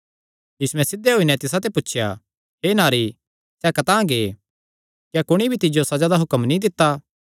यीशुयैं सिध्धे होई नैं तिसाते पुछया हे नारी सैह़ कतांह गै क्या कुणी भी तिज्जो सज़ा दा हुक्म नीं दित्ता